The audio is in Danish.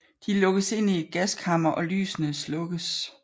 De lukkes ind i et gaskammer og lysene slukkes